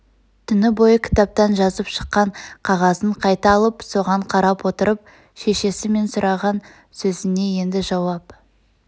түні бойы кітаптан жазып шыққан қағазын қайта алып соған қарап отырып шешесі мен сұраған сөзіне енді жауап